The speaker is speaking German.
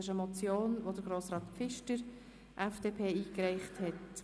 Es handelt sich um eine Motion, die Grossrat Pfister, FDP, eingereicht hat.